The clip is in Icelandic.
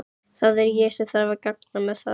Það er ég sem þarf að ganga með það.